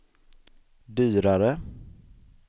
dyrare